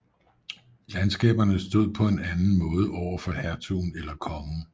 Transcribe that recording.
Landskaberne stod på en anden måde overfor hertugen eller kongen